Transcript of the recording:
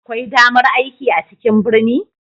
Akwai damar aiki a cikin birni?